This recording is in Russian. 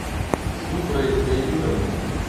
зухрой леонидовной